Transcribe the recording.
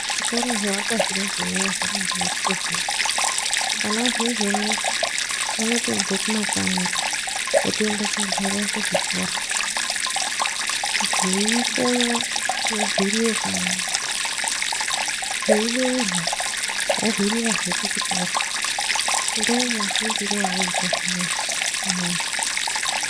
Zvikora zvoakwa zvineizvi zvakabai jekei vana zvino izvi uno vano tobva kumakanyi votoinda kunogarire kuzvikora zvei konya vohwirire kanyi zveibeurwa vohwirira zve kuchikora ndomafundire ovoita zvineizvi uneizvi unowu.